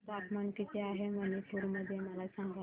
तापमान किती आहे मणिपुर मध्ये मला सांगा